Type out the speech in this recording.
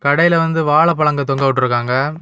கடையில வந்து வாழைப்பழங்க தொங்க விட்டுருக்காங்க.